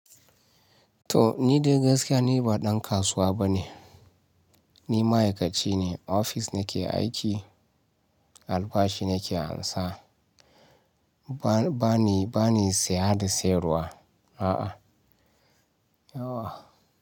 To ni dai gaskiya ni ba ɗan kasuwa bane. Ni ma'aikaci ne, ofis nake aiki, albashi nake amsa. Ba ni, ba ni siya da siyarwa a'a.